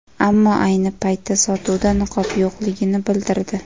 Ammo ayni paytda sotuvda niqob yo‘qligini bildirdi.